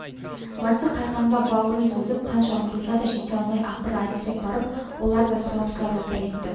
басы қайқаңдап бауырын созып қанша ұмтылса да жете алмай ақыры әлсіреп барып олар да сұлап-сұлап жата кетті